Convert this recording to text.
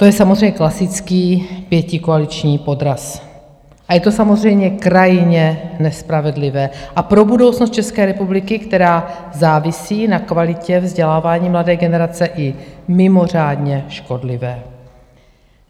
To je samozřejmě klasický pětikoaliční podraz a je to samozřejmě krajně nespravedlivé a pro budoucnost České republiky, která závisí na kvalitě vzdělávání mladé generace, i mimořádně škodlivé.